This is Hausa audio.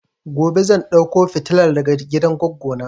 Gobe zan dauko fitilan daga gidan goggo na